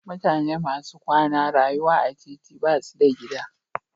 Mutane masu kwana rayuwa a titi basu da gida.